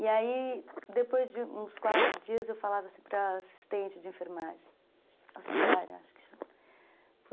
E aí, depois de uns quatro dias, eu falava para a assistente de enfermagem, auxiliar, acho que chama.